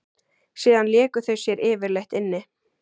Síðan léku þau sér yfirleitt inni.